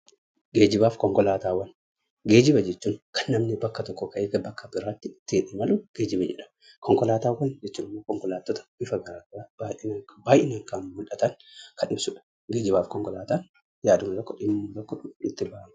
Geejjibaaf konkolaatawwaan; geejjiba jechuun Kan namni tokko bakka tokko ka'e bakka biraatti ittin imalu geejjiba jedhama. Konkolaatawwaan(konkolaatoota) bifa garagaraa baay'inaan kan mul'atan Kan ibsuudha. geejjibaaf konkolaatan yaaduma tokko, dhimuma tokko itti ba'ama.